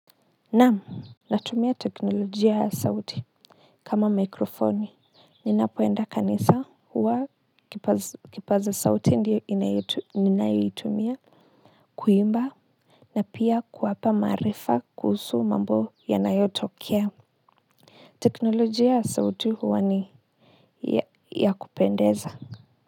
Naam natumia teknolojia ya sauti kama mikrofoni ninapoenda kanisa huwa kipaza sauti ndio ninayoitumia kuimba na pia kuwapa maarifa kuhusu mambo yanayotokea teknolojia ya sauti huwa ni ya kupendeza.